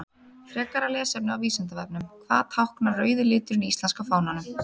Frekara lesefni á Vísindavefnum: Hvað táknar rauði liturinn í íslenska fánanum?